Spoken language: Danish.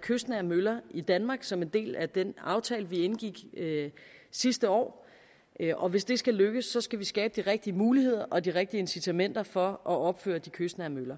kystnære møller i danmark som en del af den aftale vi indgik sidste år og hvis det skal lykkes skal vi skabe de rigtige muligheder og de rigtige incitamenter for at opføre de kystnære møller